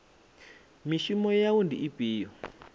mishumo ya wua ndi ifhio